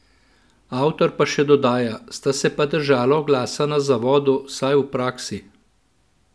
Avtor pa še dodaja:"Sta se pa držala oglasa na zavodu, vsaj v praksi.